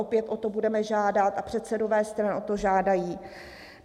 Opět o to budeme žádat a předsedové stran o to žádají.